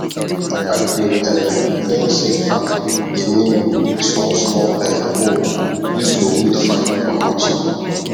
i bin um learn say fato dey mean small small um hoe use to weed fine for hausa